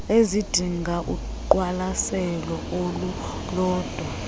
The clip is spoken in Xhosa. ezidinga uqwalaselo olulodwa